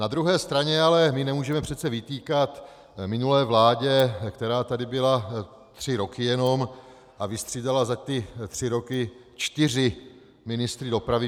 Na druhé straně ale my nemůžeme přece vytýkat minulé vládě, která tady byla tři roky jenom a vystřídala za ty tři roky čtyři ministry dopravy.